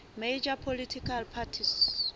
major political parties